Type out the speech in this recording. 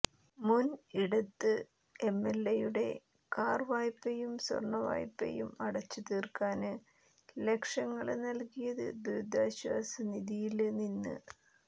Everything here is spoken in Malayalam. മുന് ഇടത് എംഎല്എയുടെ കാര് വായ്പയും സ്വര്ണ വായ്പയും അടച്ചുതീര്ക്കാന് ലക്ഷങ്ങള് നല്കിയത് ദുരിതാശ്വാസനിധിയില് നിന്ന്